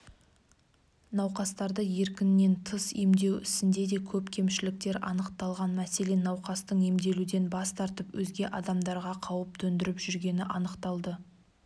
науқастарды еркінен тыс емдеу ісінде де көп кемшіліктер анықталған мәселен науқастың емделуден бас тартып өзге адамдарға қауіп төндіріп жүргені анықталды